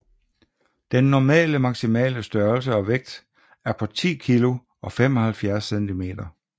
Den normale maximale størrelse og vægt er på 10 kg og 75 cm